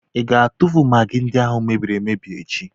Ị ga-atụfu magị ndị ahụ mebiri emebi echi?